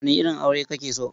Wane irin aure kake so?